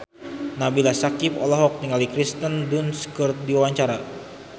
Nabila Syakieb olohok ningali Kirsten Dunst keur diwawancara